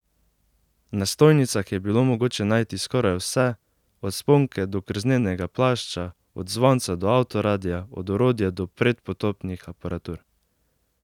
Na stojnicah je bilo mogoče najti skoraj vse, od sponke do krznenega plašča, od zvonca do avtoradia, od orodja do predpotopnih aparatur.